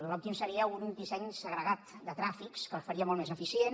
l’òptim seria un disseny segregat de tràfics que el faria molt més eficient